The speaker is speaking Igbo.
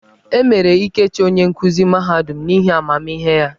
E mere Ikechi onye nkuzi mahadum n'ihi amamihe ya.